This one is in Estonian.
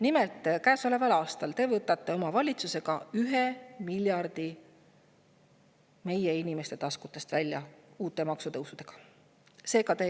Nimelt, käesoleval aastal võtab teie valitsus uute maksutõusudega meie inimeste taskutest 1 miljardi.